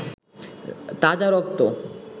তাজা রক্ত